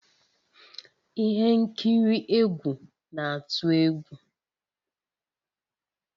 Ihe nkiri egwu na-atụ egwu